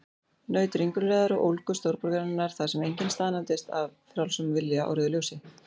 Naut ringulreiðar og ólgu stórborgarinnar, þar sem enginn staðnæmist af frjálsum vilja á rauðu ljósi.